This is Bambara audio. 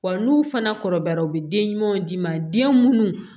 Wa n'u fana kɔrɔbayara u bɛ den ɲumanw d'i ma den munnu